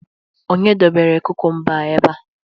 onye debere kukumba a ebe a?